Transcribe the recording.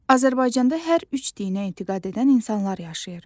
Azərbaycanda hər üç dinə etiqad edən insanlar yaşayır.